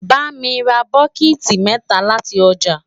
bá mí rà bokiti mẹta láti ọjà